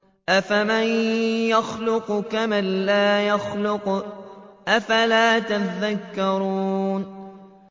أَفَمَن يَخْلُقُ كَمَن لَّا يَخْلُقُ ۗ أَفَلَا تَذَكَّرُونَ